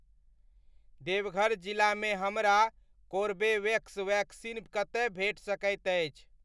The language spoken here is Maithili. देवघर जिलामे हमरा कोरबेवेक्स वैक्सीन कतय भेट सकैत अछि ?